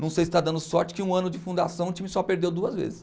Não sei se está dando sorte que um ano de fundação o time só perdeu duas vezes.